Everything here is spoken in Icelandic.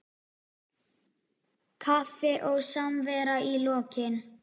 Kaffi og samvera í lokin.